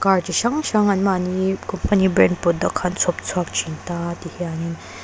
car chi hrang hrang an mahni company brand product kha an chhawp chhuak thin ta a ti hian in.